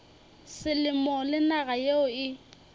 selemo le naga yeo e